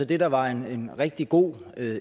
det der var en rigtig god